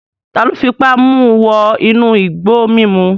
Taló fipá mu wọ inú igbó mímu?